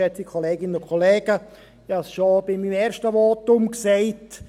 Ich habe es schon bei meinem ersten Votum gesagt: